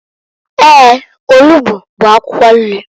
Eeǃ Onugbu bụ akwụkwọ nri.